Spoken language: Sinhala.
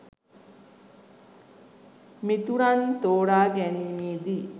මිතුරන් තෝරා ගැනීමේදී